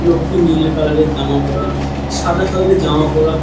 লোকটি নিল কালার এর জামা পরা সাদা কালার এর জামা পরা--